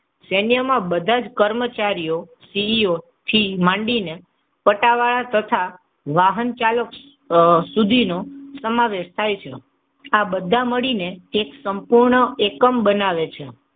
સૈન્યમાં બધા જ કર્મચારીઓ સીઇઓ થી માંડીને પટાવાળા તથા વાહન ચાલકો સુધીનો સમાવેશ થાય છે. આ બધા મળીને એક સંપૂર્ણ એકમ બનાવે છે.